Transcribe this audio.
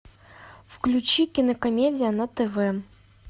включи кинокомедия на тв